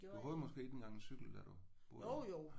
Du havde måske ikke engang en cykel da du boede der?